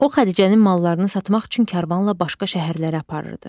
O Xədicənin mallarını satmaq üçün karvanla başqa şəhərlərə aparırdı.